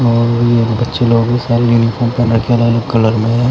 और बच्चे लोग स्काई यूनिफॉर्म लड़कियां अलग अलग कलर में--